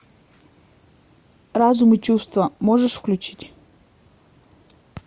разум и чувства можешь включить